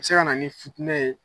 Se ka na ni futinɛ ye.